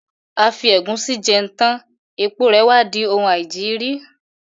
A fi ẹ̀gúsí jẹun tán, èpo rè wá di oun aìjiri.